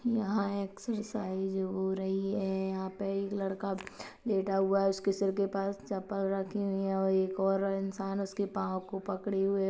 यहाँ एक्सरसाइज हो रही है यहाँ पे एक लड़का लेटा हुआ है उसके सिर के पास चपल रखी हुई है और एक और इंसान उसके पाँव को पकड़े हुए --